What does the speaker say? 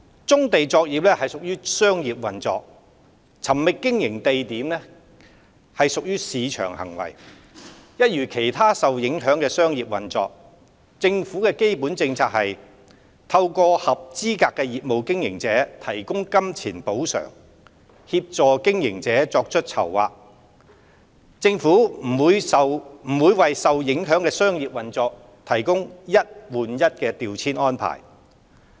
棕地作業屬商業運作，尋覓經營地點屬市場行為，一如其他受影響的商業運作，政府的基本政策是透過向合資格的業務經營者提供金錢補償，協助經營者作出籌劃，政府不會為受影響的商業運作提供"一換一"調遷安置。